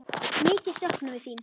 Mikið söknum við þín.